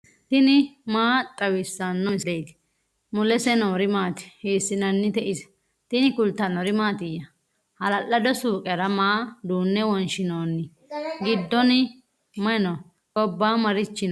tini maa xawissanno misileeti ? mulese noori maati ? hiissinannite ise ? tini kultannori mattiya? hala'lado suuqera maa duunne wonshiinooni? giddonni may noo? gobba marichi noo?